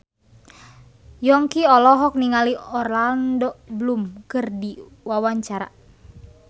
Yongki olohok ningali Orlando Bloom keur diwawancara